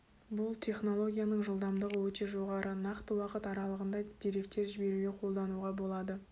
бұл технологияның жылдамдығы өте жоғары нақты уақыт аралығында деректер жіберуге қолдануға болады